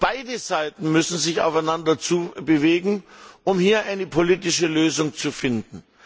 Beide Seiten müssen sich aufeinander zubewegen, um eine politische Lösung zu finden.